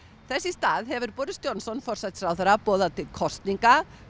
þess í stað hefur Boris Johnson forsætisráðherra boðað til kosninga